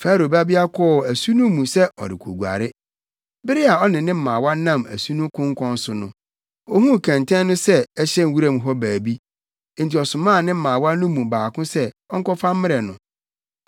Farao babea kɔɔ asu no mu sɛ ɔrekoguare. Bere a ɔne ne mmaawa nam asu no konkɔn so no, ohuu kɛntɛn no sɛ ɛhyɛ wuram hɔ baabi, enti ɔsomaa ne mmaawa no mu baako sɛ ɔnkɔfa mmrɛ no.